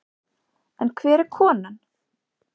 En hver er konan?